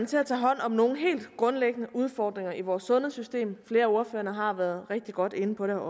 til at tage hånd om nogle helt grundlæggende udfordringer i vores sundhedssystem flere af ordførerne har været rigtig godt inde på det